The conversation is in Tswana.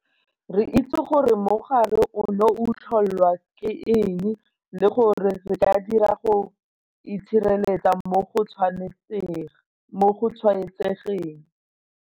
Re itse gore mogare ono o tlholwa ke eng le gore re ka dirang go itshireletsa mo go tshwaetsegeng.